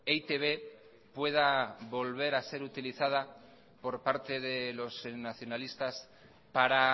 e i te be pueda volver a ser utilizada por parte de los nacionalistas para